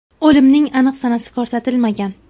O‘limning aniq sanasi ko‘rsatilmagan.